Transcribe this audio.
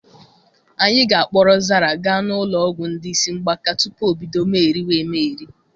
Anyị ga-akpọrọ Zara gaa n'ụlọ ọgwụ ndị isi mgbakasị tupu obido megheriwa emegheri.